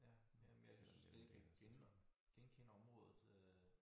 Ja ja men jeg synes slet ikke jeg kan genkende området øh